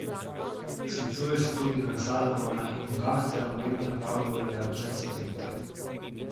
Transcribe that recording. Sklicuje se tudi na Salomona in Boga ter omenja Pavlovega učenca Timoteja.